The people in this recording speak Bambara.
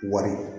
Wari